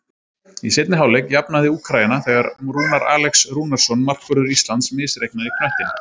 Í seinni hálfleik jafnaði Úkraína þegar Rúnar Alex Rúnarsson, markvörður Íslands, misreiknaði knöttinn.